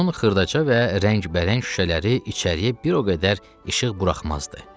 Onun xırdaca və rəngbərəng şüşələri içəriyə bir o qədər işıq buraxmazdı.